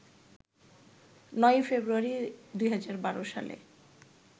৯ ফেব্রুয়ারি, ২০১২ সালে